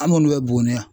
An minnu bɛ buguni yan